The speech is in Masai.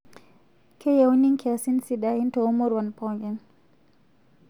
Keyiuni nkiasin sidain too muruan pookin